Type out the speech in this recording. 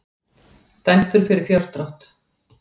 Dæmdur fyrir fjárdrátt